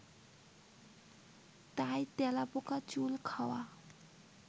তাই তেলাপোকা চুল খাওয়া